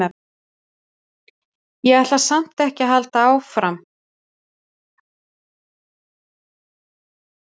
Ég ætla samt ekki að halda því fram að Bæjarútgerðin hafi gert mig að hasshaus.